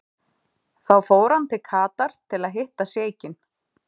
Þá fór hann til Katar til að hitta sjeikinn.